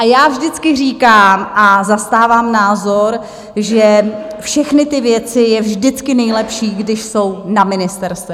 A já vždycky říkám a zastávám názor, že všechny ty věci je vždycky nejlepší, když jsou na ministerstvech.